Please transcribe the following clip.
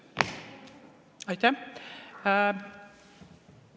Aitäh!